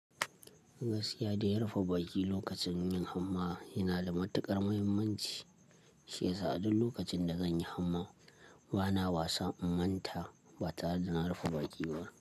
Gaskiya da yarfa baki lokacin yin hamma yana da matuƙar muhimmanci. Shi yasa a duk lokacin da zan yi hamma bana wasa in manta ba tare da na rufe baƙi ba.